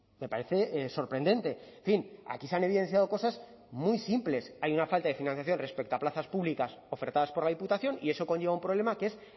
me parece sorprendente en fin aquí se han evidenciado cosas muy simples hay una falta de financiación respecto a plazas públicas ofertadas por la diputación y eso conlleva un problema que es